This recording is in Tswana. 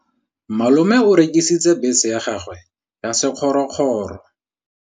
Malome o rekisitse bese ya gagwe ya sekgorokgoro.